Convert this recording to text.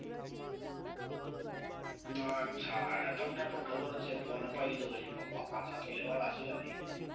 ના અચ્છા અલ્યા તમને પણ ખબર છે. phone આપાઈ દીધો પછી પાપા પાછો જ લેવાના નઈ.